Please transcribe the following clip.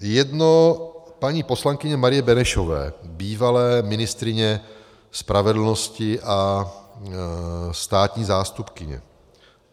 Jedno paní poslankyně Marie Benešové, bývalé ministryně spravedlnosti a státní zástupkyně.